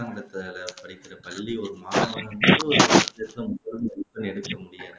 அரசாங்கத்தால படிக்கிற ஒரு பள்ளி ஒரு மாணவனை எடுக்க முடியாது